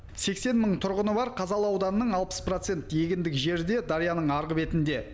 сексен мың тұрғыны бар қазалы ауданының алпыс проценті егіндік жері де дарияның арғы бетінде